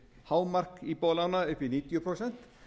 hámark íbúðarlána upp í níutíu prósent